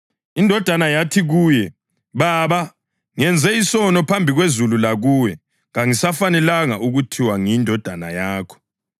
Indodana yathi kuye, ‘Baba, ngenze isono phambi kwezulu lakuwe. Kangisafanelanga ukuthiwa ngiyindodana yakho.’